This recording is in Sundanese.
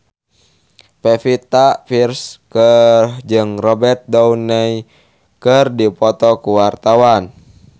Pevita Pearce jeung Robert Downey keur dipoto ku wartawan